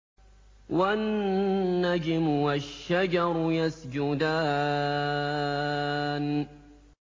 وَالنَّجْمُ وَالشَّجَرُ يَسْجُدَانِ